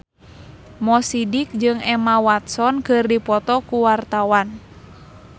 Mo Sidik jeung Emma Watson keur dipoto ku wartawan